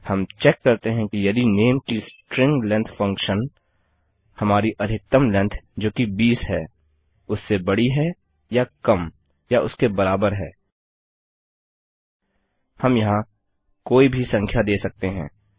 हम चेक करते हैं कि यदि नेम की स्ट्रिंग लेन्थ फंक्शन हमारी अधिकतम लेन्थ जोकि 20 है उससे बड़ी है या कम या उसके बराबर है हम यहाँ कोई भी संख्या दे सकते हैं